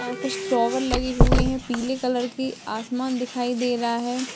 अ कुछ फ्लावर लगे हुए है पिले कलर के आसमान दिखाई दे रहा है।